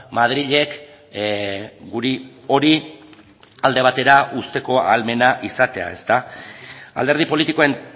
madrilek guri hori alde batera uzteko ahalmena izatea alderdi politikoen